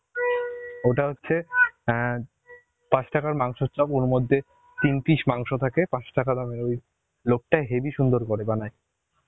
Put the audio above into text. ওটা হচ্ছে এন পাঁচ টাকার মাংসের চপ ওর মধ্যে তিন পিস মাংস থাকে পাঁচ টাকা দামের লোকটা হেবি সুন্দর করে বানায়